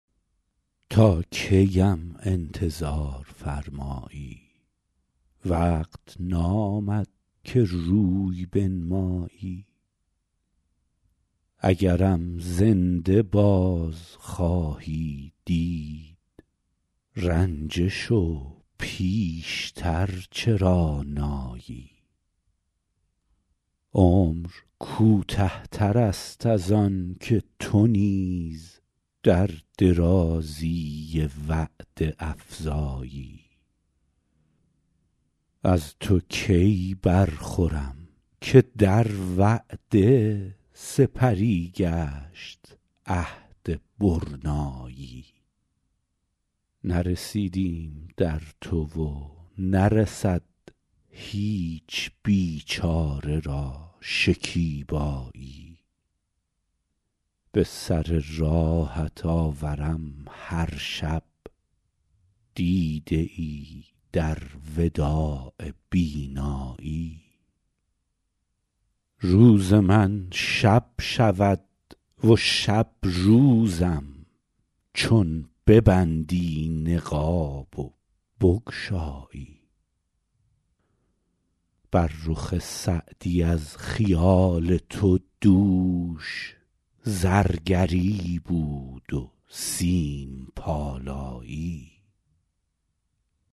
تا کی ام انتظار فرمایی وقت نامد که روی بنمایی اگرم زنده باز خواهی دید رنجه شو پیش تر چرا نایی عمر کوته تر است از آن که تو نیز در درازی وعده افزایی از تو کی برخورم که در وعده سپری گشت عهد برنایی نرسیدیم در تو و نرسد هیچ بیچاره را شکیبایی به سر راهت آورم هر شب دیده ای در وداع بینایی روز من شب شود و شب روزم چون ببندی نقاب و بگشایی بر رخ سعدی از خیال تو دوش زرگری بود و سیم پالایی